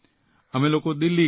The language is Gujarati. અમે લોકો દિલ્હી ગયા